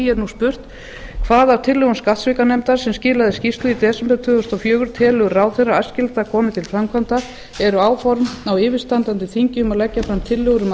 er nú spurt hvað af tillögum skattsvikanefndar sem skilaði skýrslu í desember tvö þúsund og fjögur telur ráðherra æskilegt að komi til framkvæmda eru áform á yfirstandandi þingi um að leggja fram tillögur um